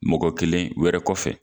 Mɔgɔ kelen wɛrɛ kɔfɛ